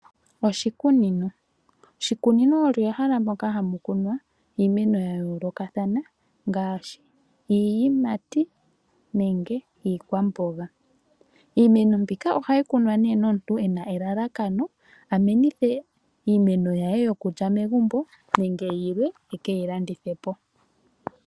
Oshikunino, oshikunino olyo ehala moka hamu kunwa iimeno yayoolokathana ngaashi iiyimati nenge iikwamboga. Iimeno mbika ohayi kunwa nee nomuntu ena elalakano a menithe iimeno ya ye yokulya megumbo nenge yilwe e keyi landithe po.